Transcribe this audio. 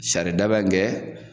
Saridaba kɛ